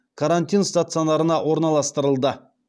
карантин стационарына орналастырылды